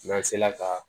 N'an sela ka